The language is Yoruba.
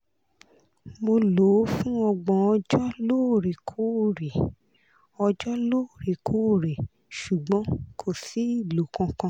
mo lò ó fún ọgbọ̀n ọjọ́ lóòrèkóòrè ọjọ́ lóòrèkóòrè ṣùgbọ́n kò sí ìlò kankan